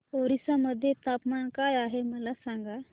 ओरिसा मध्ये तापमान काय आहे मला सांगा